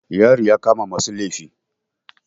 Yari ya kama masu laifi.